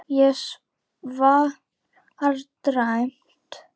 Ég svara dræmt.